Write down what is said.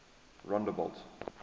rondebult